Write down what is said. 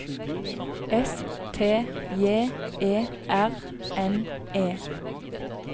S T J E R N E